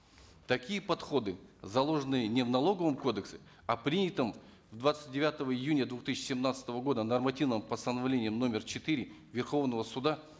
такие подходы заложены не в налоговом кодексе а в принятом двадцать девятого июня две тысячи семнадцатого года нормативнм постановлении номер четыре верховного суда